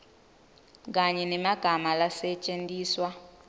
kanye nemagama lasetjentiswa